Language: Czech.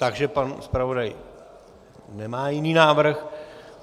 Takže pan zpravodaj nemá jiný návrh.